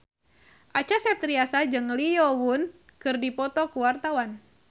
Acha Septriasa jeung Lee Yo Won keur dipoto ku wartawan